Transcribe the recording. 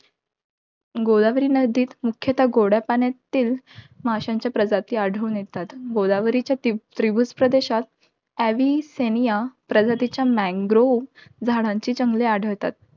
गोदावरी नदीत मुख्यता, गोड्या पाण्यातील माश्यांच्या प्रजाती आढळून येतात. गोदावरीच्या त्रि~ त्रिभूजप्रदेशात एवीसेनिया प्रजातीच्या मेम्ब्रो झाडाची जंगले आढळतात.